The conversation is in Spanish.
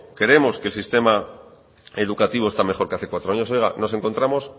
creemos que el sistema educativo está mejor que hace cuatro años oiga nos encontramos